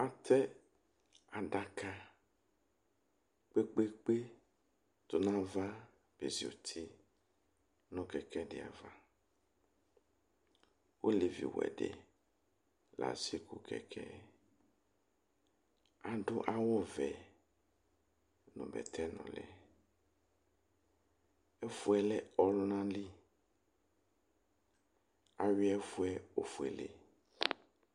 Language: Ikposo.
Àtɛ adaka kpekpekpe tunu ãvã be zi uti nu kɛkɛ ɖi ãvã Ɔlɛvi wɛ di la se ku kɛkɛ yɛ Ãdu awu vɛ, nu bɛtɛ núli Ɛfuyɛ lɛ ɔkuna li Aŋui ɛfuɛ ofuele